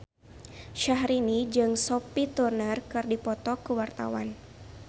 Syahrini jeung Sophie Turner keur dipoto ku wartawan